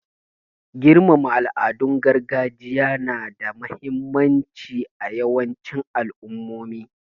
Girmama al'adun gargajiya na da muhimmanci a yawancin al'ummomi.